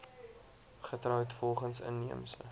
getroud volgens inheemse